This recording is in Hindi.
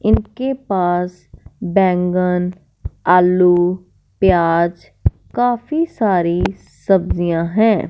इनके पास बैगन आलू प्याज़ काफ़ी सारी सब्जियां है।